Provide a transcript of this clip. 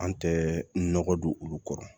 An tɛ nɔgɔ don olu kɔrɔ